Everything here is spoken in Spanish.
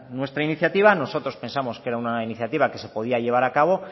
nuestra iniciativa nosotros pensamos que era una iniciativa que se podía llevar acabo